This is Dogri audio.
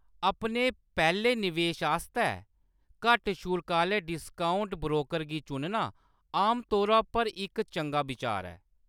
अपने पैह्‌‌‌ले निवेश आस्तै घट्ट शुल्क आह्‌‌‌ले डिस्काउंट ब्रोकर गी चुनना आमतौरा पर इक चंगा बिचार ऐ।